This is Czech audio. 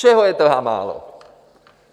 Čeho je tedy málo?